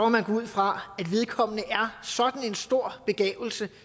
man gå ud fra at vedkommende er sådan en stor begavelse